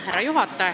Härra juhataja!